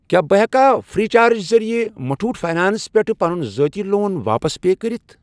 کیٛاہ بہٕ ہٮ۪کا فرٛیی چارج ذٔریعہٕ مُٹُھوٗٹھ فاینانٛس پٮ۪ٹھ پَنُن ذٲتی لون واپس پے کٔرِتھ؟